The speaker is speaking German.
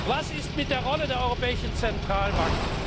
Was ist mit der Rolle der Europäischen Zentralbank?